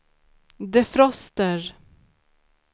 defroster